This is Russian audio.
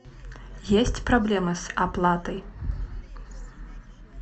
есть проблемы с оплатой